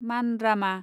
मानरामा